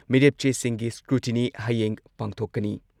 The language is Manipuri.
ꯃꯤꯔꯦꯞ ꯆꯦꯁꯤꯡꯒꯤ ꯁ꯭ꯀ꯭ꯔꯨꯇꯤꯅꯤ ꯍꯌꯦꯡ ꯄꯥꯡꯊꯣꯛꯀꯅꯤ ꯫